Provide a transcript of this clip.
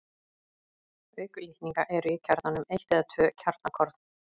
Auk litninga eru í kjarnanum eitt eða tvö kjarnakorn.